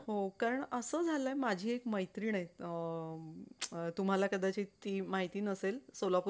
सगळं management करणं, अवघड असतंय.